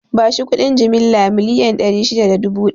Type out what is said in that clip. Bashi kuɗi jimilla miliyan ɗari shida da dubu ɗari